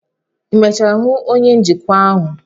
ị emechara hụ onye njikwa ahụ?